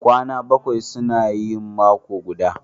Kwana bakwai suna yin mako guda